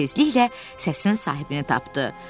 Tezliklə səsin sahibini tapdı.